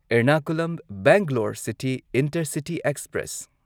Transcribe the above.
Ernakulam Bangalore city intercity express